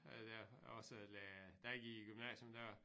Øh der også lærer da jeg gik i gymnasium der